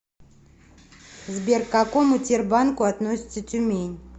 сбер к какому тербанку относится тюмень